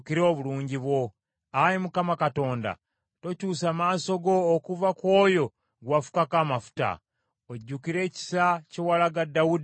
Ayi Mukama Katonda, tokyusa maaso go okuva ku oyo gwe wafukako amafuta. Ojjukire ekisa kye walaga Dawudi omuddu wo.”